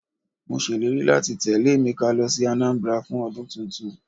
Mọ sé ìlérí láti tẹ́lẹ̀ Emeka lọ sí Anambra fún ọdún tuntun.